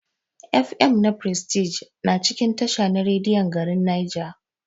F.M na prestige na cikin tasha na rediyon garin Nija.